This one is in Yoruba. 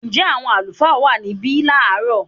Ǹjẹ́ àwọn àlùfáà wà níbí láàrọ̀?